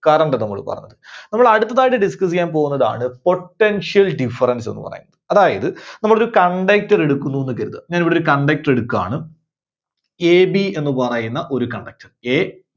current ന്ന് നമ്മള് പറഞ്ഞത്. അപ്പോൾ അടുത്തതായിട്ട്‌ discuss ചെയ്യാൻ പോകുന്നതാണ് Potential Difference ന്ന് പറയും. അതായത് നമ്മൾ ഒരു conductor എടുക്കുന്നു എന്ന് കരുതുക. ഞാൻ ഇവിടെ ഒരു conductor എടുക്കുകയാണ്. AB എന്ന് പറയുന്ന ഒരു conductorA